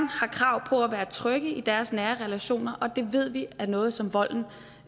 har krav på at være trygge i deres nære relationer og det ved vi er noget som volden